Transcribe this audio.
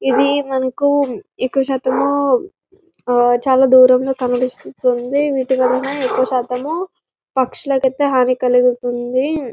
ఇది ఎక్కువ శాతం దూరం కనిపిస్తుంది ఎక్కువ శాతము పక్షులకి హాని కలుగుతుంది